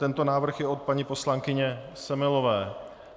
Tento návrh je od paní poslankyně Semelové.